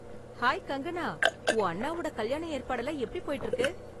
Hi Kangana! உன் அண்ணாவோட கல்யாண ஏற்பாடெல்லாம் எப்படி போயிட்டு இருக்கு?